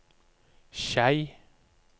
Skei